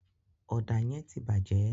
Ọ̀dà yẹ́n tí bàjẹ́